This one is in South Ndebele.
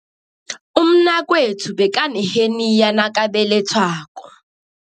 Umnakwethu bekaneheniya nakabelethwako.